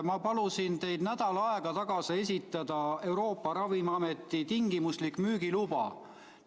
Ma palusin teid nädal aega tagasi esitada Euroopa Ravimiameti tingimuslik müügiluba.